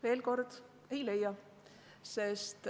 Veel kord: ei leia.